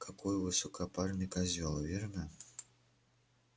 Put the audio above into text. какой высокопарный козёл верно